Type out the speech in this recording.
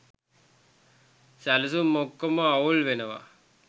සැලසුම් ඔක්කොම අවුල් වෙනවා.